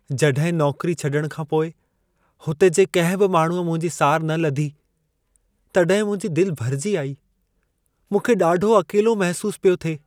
जॾहिं नौकिरी छॾण खां पोइ हुते जे कंहिं बि माण्हूअ मुंहिंजी सार न लधी, तॾहिं मुंहिंजी दिल भरिजी आई। मूंखे ॾाढो अकेलो महिसूस पियो थिए।